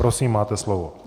Prosím, máte slovo.